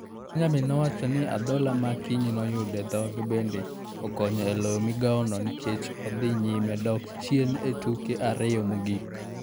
Benjamin nowacho ni adhola ma Akinyi noyudo e dhoge bende ne okonyo e loyo migawono nikech ne odhi nyime dok chien e tuke ariyo mogik.